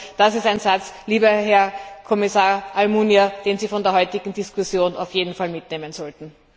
Ich glaube, das ist ein Satz, lieber Herr Kommissar Almunia, den Sie von der heutigen Diskussion auf jeden Fall mitnehmen sollten.